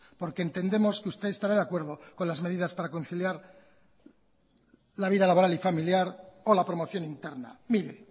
porque entendemos que usted estará de acuerdo con las medidas para conciliar la vida laboral y familiar o la promoción interna mire